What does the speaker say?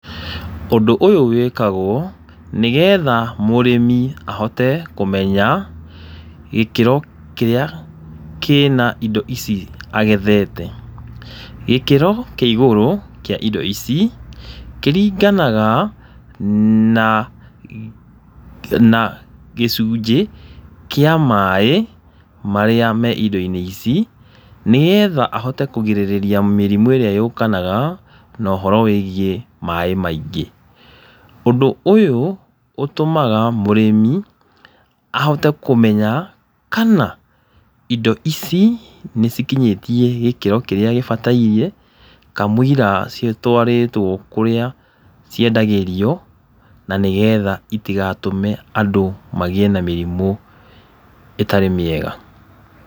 Ũndũ ũyũ wĩkagwo nĩgetha mũrĩmi ahote kũmenya gĩkĩro kĩrĩa kĩna indo ici agethete. Gĩkĩro kĩa igũrũ kĩa indo ici kĩringanaga na gĩcunjĩ kĩ maaĩ marĩa me irio-inĩ ici nĩgetha ahote kũgirĩrĩria mĩrimũ ĩrĩa yũkanaga na ũhoro wĩgiĩ maaĩ maingĩ. Ũndũ ũyũ ũtũmaga mũrĩmi ahote kũmenya kana indo ici nĩ cikinyĩtie gĩkĩro kĩrĩa gĩbataire kamũira citwarĩtwo kũrĩa ciendagĩrio na nĩgetha itigatũme andũ magĩe na mĩrimũ ĩtarĩ mĩega.